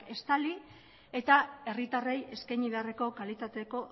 estali eta herritarrei eskaini beharreko kalitatezko